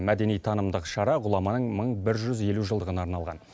мәдени танымдық шара ғұламаның мың бір жүз елу жылдығына арналған